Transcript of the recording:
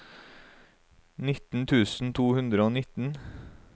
nitten tusen to hundre og nitten